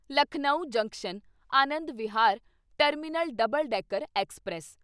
Lucknow junction Anand Vihar terminal double decker express